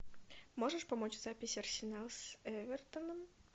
можешь помочь запись арсенал с эвертоном